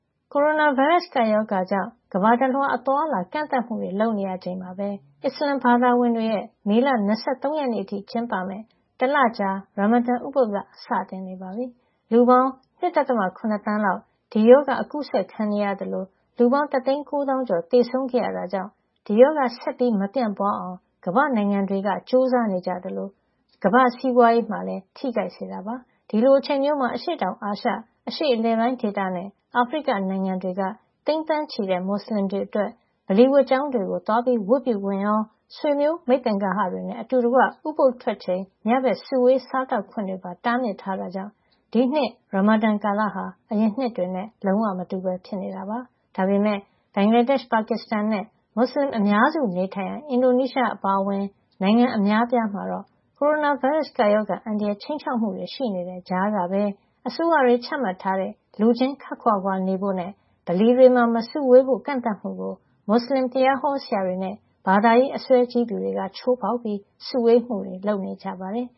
ကိုရိုနာဗိုင်းရပ်စ် ကပ်ရောဂါကြောင့် ကမ္ဘာတလွှား အသွားအလာကန့်သတ်မှုတွေ လုပ်နေချိန်မှာပဲ အစ္စလာမ်ဘာသာဝင်တွေရဲ့ မေလ ၂၃ ရက်နေ့အထိကျင်းပမယ့် တလကြာ ရာမာဒန် ဥပုသ်လ စတင်နေပါပြီ။ လူပေါင်း ၂.၇ သန်းလောက် ဒီရောဂါ အကူးစက်ခံနေရသလို လူပေါင်း (၁၉၀ ၀၀၀) တသိန်း ၉ သောင်းကျော် သေဆုံးခဲ့ရတာကြောင့် ဒီရောဂါ ဆက်မပြန့်ပွားအောင် ကမ္ဘာ့နိုင်ငံတွေ ကြိုးစား နေကြရသလို ကမ္ဘာ့စီးပွားရေးကိုလည်း ထိခိုက်စေတာပါ။ ဒီလိုအချိန်မျိုးမှာ အရှေ့တောင်အာရှ၊ အရှေ့အလယ်ပိုင်းဒေသနဲ့ အာဖရိက နိုင်ငံတွေက သိန်းသန်းချီတဲ့ မွတ်ဆလင်တွေ အတွက် ဗလီဝတ်ကျောင်းတွေသွားပြီး ဝတ်ပြုခွင့်ရော ဆွေမျိုးမိတ်သင်္ဂဟတွေနဲ့ အတူတကွ ဥပုသ်ထွက်ချိန် ညဘက် စုဝေးစားသောက်ခွင့် တွေပါ တားမြစ်ထားတာကြောင့် ဒီနှစ် ရာမာဒန်ကာလဟာ အရင်နှစ်တွေနဲ့ လုံးဝမတူပဲဖြစ်နေတာပါ။ ဒါပေမယ့် ဘင်္ဂလားဒေ့ရှ်၊ ပါကစ္စတန်နဲ့ မွတ်ဆလင်အများစု နေထိုင်ရာ အင်ဒိုနီးရှား အပါအဝင် နိုင်ငံအများအပြားမှာ တော့ ကိုရိုနာဗိုင်းရပ်စ် ကပ်ရောဂါအန္တရာယ် ခြိမ်းခြောက်မှု ရှိနေတဲ့ ကြားကပဲ အစိုးရတွေ ချမှတ်ထားတဲ့ လူချင်းခပ်ခွာခွာနေဖို့နဲ့ ဗလီတွေမှာ မစုဝေးဖို့ ကန့်သတ်မှုကိုမွတ်ဆလင်တရားဟောဆရာတွေနဲ့ ဘာသာရေးအစွဲကြီးသူတွေက ချိုးဖောက် ပြီး စုဝေးမှုတွေ လုပ်နေကြပါတယ်